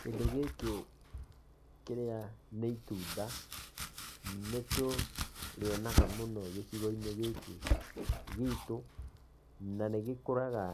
Kĩndũ gĩkĩ kĩrĩa nĩ itunda, nĩtũrĩonaga mũno gĩcigo-inĩ gĩkĩ gĩtũ na nĩgĩkũraga